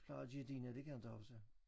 Plejer de dine det kan jeg inte huske